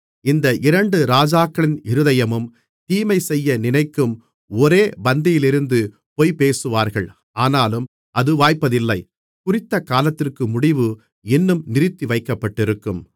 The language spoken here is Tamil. இந்த இரண்டு ராஜாக்களின் இருதயமும் தீமை செய்ய நினைக்கும் ஒரே பந்தியிலிருந்து பொய்பேசுவார்கள் ஆனாலும் அது வாய்ப்பதில்லை குறித்தகாலத்திற்கு முடிவு இன்னும் நிறுத்திவைக்கப்பட்டிருக்கும்